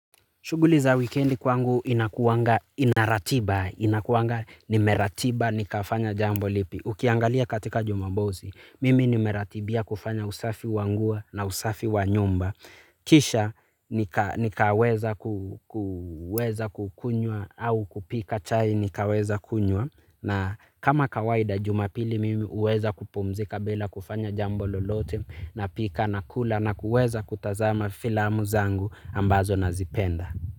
Shughuli za wikendi kwangu inakuwanga ina ratiba, inakuwanga, nimeratiba, nikafanya jambo lipi. Ukiangalia katika jumamosi, mimi nimeratibia kufanya usafi wa nguo na usafi wanyumba. Kisha nikaweza kukunywa au kupika chai nikaweza kunywa. Na kama kawaida jumapili mimi huweza kupumzika bila kufanya jambo lolote napika na kula na kuweza kutazama filamu zangu ambazo nazipenda.